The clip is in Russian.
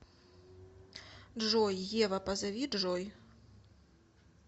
джой ева позови джой